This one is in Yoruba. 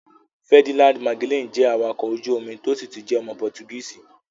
Ferdinand Magellan jẹ́ awakọ̀ ojú omi tó sì tún jẹ́ ọmọ pọtugíìsi.̀